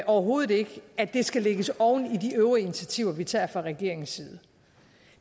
overhovedet ikke at det skal lægges oven i de øvrige initiativer vi tager fra regeringens side